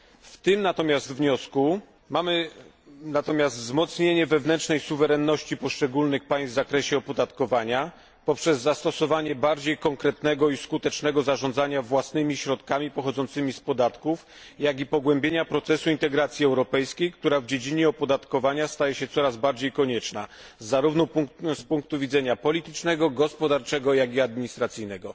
W tym wniosku mamy natomiast wzmocnienie wewnętrznej suwerenności poszczególnych państw w zakresie opodatkowania poprzez zastosowanie bardziej konkretnego i skutecznego zarządzania własnymi środkami pochodzącymi z podatków, jak i pogłębienia procesu integracji europejskiej, która w dziedzinie opodatkowania staje się coraz bardziej konieczna, zarówno z punktu widzenia politycznego, gospodarczego, jak i administracyjnego.